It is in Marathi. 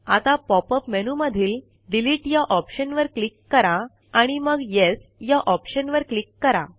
आता पॉपअप मेनूमधील डिलीट या ऑप्शनवर क्लिक करा आणि मग येस या ऑप्शनवर क्लिक करा